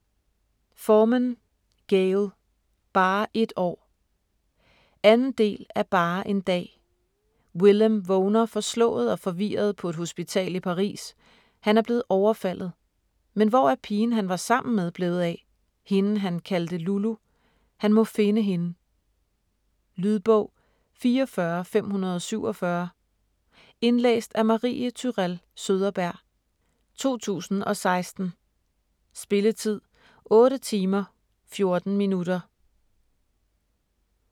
Forman, Gayle: Bare et år 2. del af Bare en dag. Willem vågner forslået og forvirret på et hospital i Paris, han er blevet overfaldet. Men hvor er pigen han var sammen med blevet af? Hende han kaldte Lulu? Han må finde hende. Lydbog 44547 Indlæst af Marie Tourell Søderberg, 2016. Spilletid: 8 timer, 14 minutter.